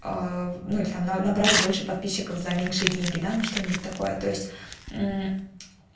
ноль там набрать больше подписчиков за меньшие деньги да ну что нибудь такое то есть